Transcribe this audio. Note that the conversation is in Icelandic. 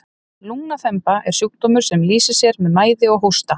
lungnaþemba er sjúkdómur sem lýsir sér með mæði og hósta